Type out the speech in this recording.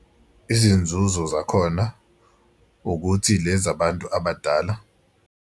Izinzuzo zakhona ukuthi lezi abantu abadala.